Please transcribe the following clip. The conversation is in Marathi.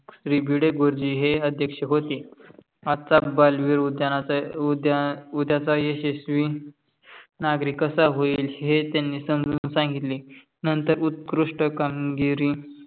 भिडे गुरुजी हे अध्यक्ष होते. आजचा बालविर उद्याचा यशशवी नागरिक कसा होईल हे त्यांनी समजून संगितले. नंतर उत्कृष्ट कामगिरी